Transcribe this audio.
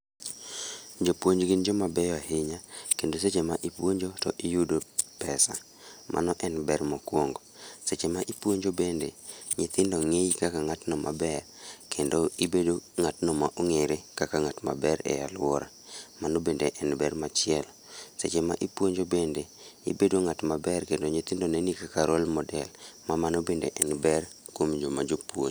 Jopuonj gin joma beyo ahinya, kendo seche ma ipuonjo to iyudo pesa, mano en ber mokwongo. Seche ma ipuonjo bende, nyithindo ng'iyi kaka ng'atno maber, kendo ibedo ng'atno ma ong'ere kaka ng'at ma ber ei alwora. Mano bende en ber machielo. Seche ma ipuonjo bende, ibedo ng'at maber kendo nyithindo neni kaka role model. Ma mano bende en ber kuom joma jopuonj.